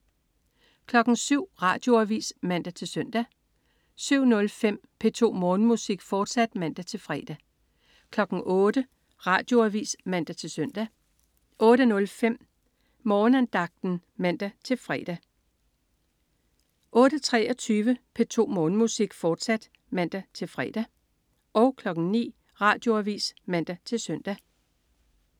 07.00 Radioavis (man-søn) 07.05 P2 Morgenmusik, fortsat (man-fre) 08.00 Radioavis (man-søn) 08.05 Morgenandagten (man-fre) 08.23 P2 Morgenmusik, fortsat (man-fre) 09.00 Radioavis (man-søn)